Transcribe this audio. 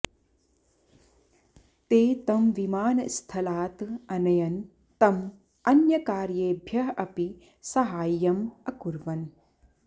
ते तं विमानस्थलात् अनयन् तं अन्यकार्येभ्यः अपि सहाय्यम् अकुर्वन्